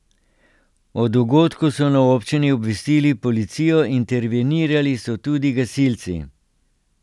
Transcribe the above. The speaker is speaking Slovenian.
O dogodku so na občini obvestili policijo, intervenirali so tudi gasilci.